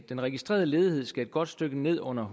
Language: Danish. den registrerede ledighed skal et godt stykke ned under